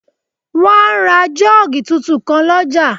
Wọ́n á ra jọ́ọ́gì tuntun kan lọ́jà